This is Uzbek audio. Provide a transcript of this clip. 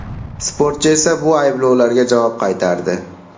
Sportchi esa bu ayblovlarga javob qaytardi .